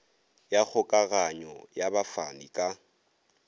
ya kgokaganyo ya bafani ka